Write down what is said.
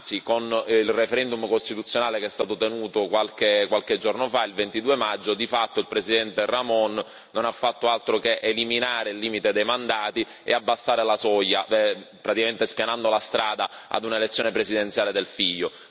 Anzi, con il referendum costituzionale che è stato tenuto qualche giorno fa, il 22 maggio, di fatto il Presidente Rahmon non ha fatto altro che eliminare il limite dei mandati e abbassare la soglia, praticamente spianando la strada ad una elezione presidenziale del figlio.